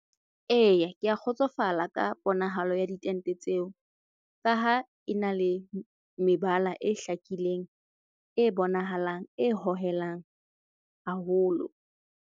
Eya, ke a kgotsofala ka ponahalo ya ditente tseo. Ka ha e na le mebala e hlakileng, e bonahalang, e hohelang haholo.